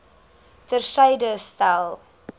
ter syde stel